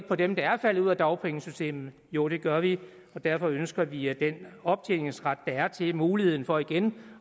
på dem der er faldet ud af dagpengesystemet jo det gør vi og derfor ønsker vi at den optjeningsret der er til muligheden for igen